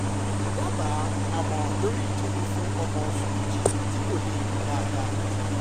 dábàá àmọ̀ràn lórí ìtọ́jú fún ọmọ oṣù méjì tí kò lè rìn dáadáa